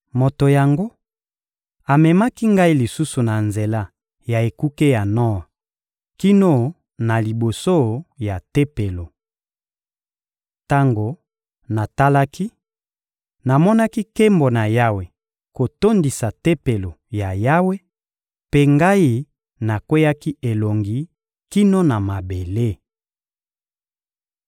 Moto yango amemaki ngai lisusu na nzela ya ekuke ya nor kino na liboso ya Tempelo. Tango natalaki, namonaki nkembo na Yawe kotondisa Tempelo ya Yawe, mpe ngai nakweyaki elongi kino na mabele.